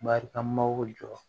Marikamaw jɔ